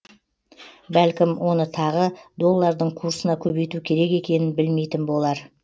бәлкім оны тағы доллардың курсына көбейту керек екенін білмейтін болар